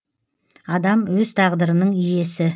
адам өз тағдырының иесі